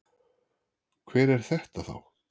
Hver er þetta þá?